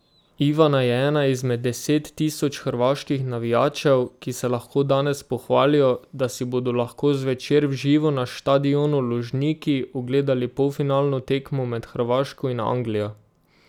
Ivana je ena izmed deset tisoč hrvaških navijačev, ki se lahko danes pohvalijo, da si bodo lahko zvečer v živo na štadionu Lužniki ogledali polfinalno tekmo med Hrvaško in Anglijo.